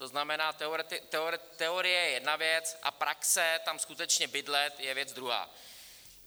To znamená, teorie je jedna věc a praxe tam skutečně bydlet je věc druhá.